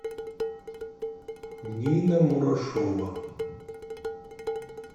нина мурашова